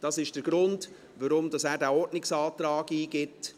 Das ist der Grund, weshalb er diesen Ordnungsantrag eingibt.